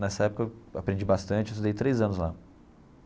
Nessa época eu aprendi bastante, eu estudei três anos lá.